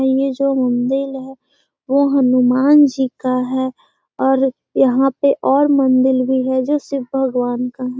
ये जो मंदिल है वो हनुमान जी का है और यहाँ पे और मंदिल भी है जो शिव भगवान का है।